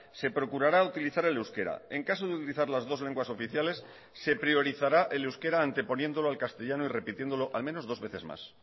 se procurará utilizar el euskera en caso de utilizar las dos lenguas oficiales se priorizará el euskera anteponiéndolo al castellano y repitiéndolo al menos dos veces más